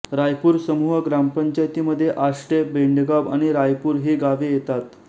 रायपूर समूह ग्रामपंचायतीमध्ये आष्टे बेंडगाव आणि रायपूर ही गावे येतात